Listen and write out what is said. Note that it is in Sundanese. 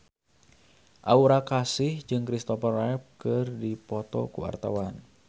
Aura Kasih jeung Kristopher Reeve keur dipoto ku wartawan